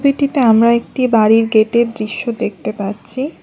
ছবিটিতে আমরা একটি বাড়ির গেটের দৃশ্য দেখতে পাচ্ছি।